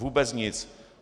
Vůbec nic.